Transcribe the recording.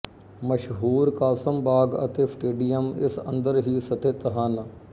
ਮਸ਼ਹੂਰ ਕਾਸਿਮ ਬਾਗ ਤੇ ਸਟੇਡੀਅਮ ਇਸ ਅੰਦਰ ਹੀ ਸਥਿਤ ਹਨ